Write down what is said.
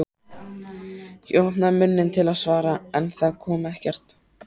Ég opnaði munninn til að svara en það kom ekkert.